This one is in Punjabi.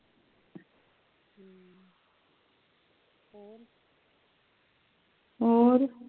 ਹੋਰ